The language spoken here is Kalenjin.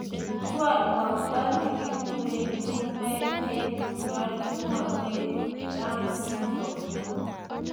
chalwakta neguren chumbeg en ngalalutikchwag Down�s syndrome